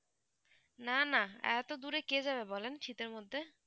না না এতদূরে কে যাবেন বলেন শীতের মধ্যে